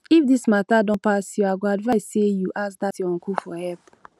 if dis matter don pass you i go advise say you ask dat your uncle for help